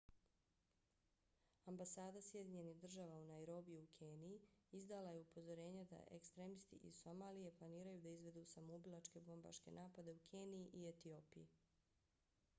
ambasada sjedinjenih država u nairobiju u keniji izdala je upozorenje da ekstremisti iz somalije planiraju da izvedu samoubilačke bombaške napade u keniji i etiopiji